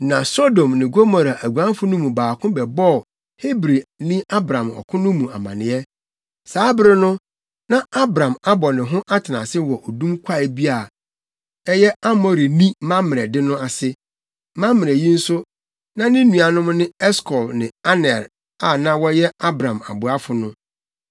Na Sodom ne Gomora aguanfo no mu baako bɛbɔɔ Hebrini Abram ɔko no mu amanneɛ. Saa bere no, na Abram abɔ ne ho atenase wɔ odum kwae bi a ɛyɛ Amorini Mamrɛ de no ase. Mamrɛ yi nso, na ne nuanom ne Eskol ne Aner a na wɔyɛ Abram aboafo no.